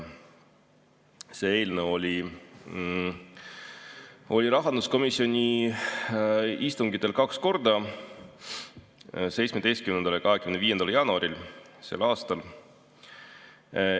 See eelnõu oli rahanduskomisjoni istungitel kaks korda: 17. ja 25. jaanuaril sel aastal.